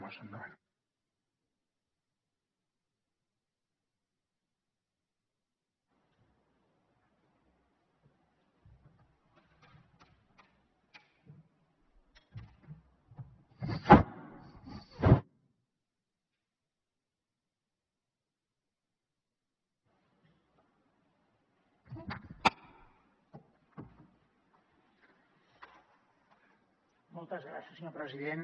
moltes gràcies senyor president